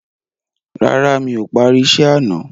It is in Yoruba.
Rárá, mi ò parí isẹ́ àná.